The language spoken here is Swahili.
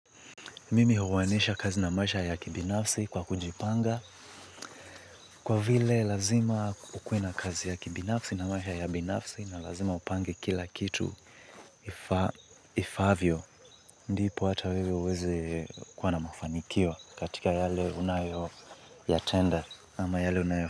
Mimi huwanisha kazi na maisha ya kibinafsi kwa kujipanga kwa vile lazima kukuwe na kazi ya kibinafsi na maisha ya binafsi na lazima upange kila kitu ifavyo ndipo hata wewe uweze kuwa na mafanikio katika yale unayo yatenda ama yale unayo.